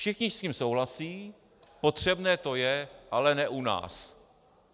Všichni s tím souhlasí, potřebné to je, ale ne u nás.